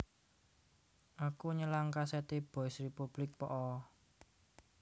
Aku nyelang kaset e Boys Republic po'o?